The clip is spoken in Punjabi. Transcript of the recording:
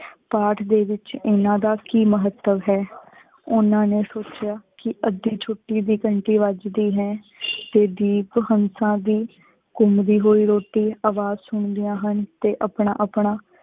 ਪਾਠ ਦੇ ਵਿੱਚ ਇਨ੍ਹਾਂ ਦਾ ਕੀ ਮਹਤੱਵ ਹੈ ਓਹਨਾ ਨੇ ਸੋਚ੍ਯਾ ਕਿ ਅੱਧੀ ਛੁਟੀ ਦੀ ਘੰਟੀ ਵਜਦੀ ਹੈ ਤੇ ਦੀਪ ਹੰਸਾ ਦੀ ਘੁਮਦੀ ਹੋਏ ਰੋਟੀ ਅਵਾਜ਼ ਸੁਨ੍ਦਿਯਾਂ ਹਨ ਤੇ ਆਪਣਾ ਆਪਣਾ